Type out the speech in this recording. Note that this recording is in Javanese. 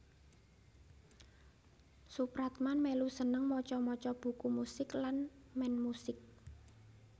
Soepratman melu seneng maca maca buku musik lan men musik